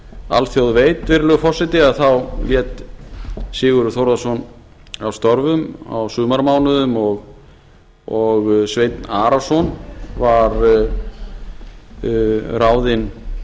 alþjóð veit virðulegi forseti þá lét sigurður þórðarson af störfum á sumarmánuðum og sveinn arason var ráðinn